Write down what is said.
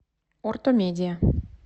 ортомедия